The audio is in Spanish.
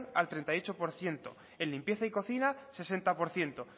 el treinta y ocho por ciento en limpieza y cocina sesenta por ciento